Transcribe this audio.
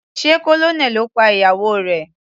Sé Colonel ló pa ìyàwó rẹ̀.